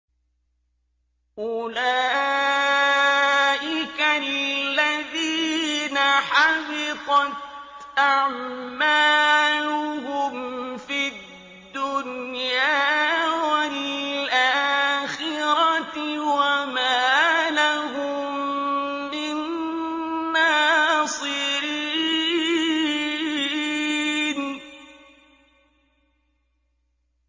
أُولَٰئِكَ الَّذِينَ حَبِطَتْ أَعْمَالُهُمْ فِي الدُّنْيَا وَالْآخِرَةِ وَمَا لَهُم مِّن نَّاصِرِينَ